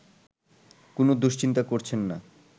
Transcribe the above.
কোনো দুশ্চিন্তা করছেন না